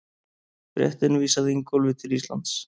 Fréttin vísaði Ingólfi til Íslands.